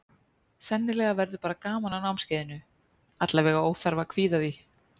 Sennilega verður bara gaman á námskeiðinu, allavega óþarfi að kvíða því.